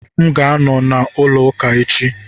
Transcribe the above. M ga-anọ na olu ụka echi.